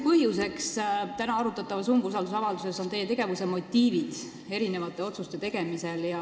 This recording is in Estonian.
Täna arutatava umbusaldusavalduse peamine põhjus on teie tegevuse motiivid mitme otsuse tegemisel.